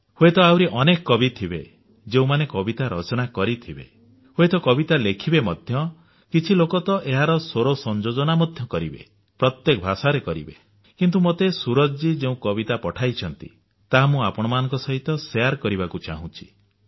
ହୁଏତ ଆହୁରି ଅନେକ କବି ଥିବେ ଯେଉଁମାନେ କବିତା ରଚନା କରିଥିବେ ହୁଏତ କବିତା ଲେଖିବେ ମଧ୍ୟ କିଛି ଲୋକ ତ ଏହାର ସ୍ୱର ସଂଯୋଜନା ମଧ୍ୟ କରିବେ ପ୍ରତ୍ୟେକ ଭାଷାରେ କରିବେ କିନ୍ତୁ ମୋତେ ସୂରଜ ଜୀ ଯେଉଁ କବିତା ପଠାଇଛନ୍ତି ତାହା ମୁଁ ଆପଣଙ୍କ ସହିତ ବାଣ୍ଟିବାକୁ ଚାହୁଁଛି